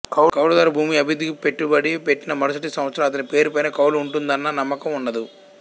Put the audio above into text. కౌలుదారు భూమి అభివృద్ధికి పెట్టుబడి పెట్టినా మరుసటి సంవత్సరం అతని పేరుపైన కౌలు ఉంటుందన్న నమ్మకం ఉండదు